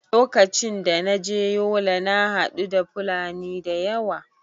Lokacin da na je yola na haɗu da fulani da yawa